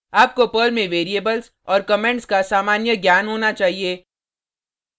आपको पर्ल में वेरिएबल्स और कमेंट्स का सामान्य ज्ञान होना चाहिए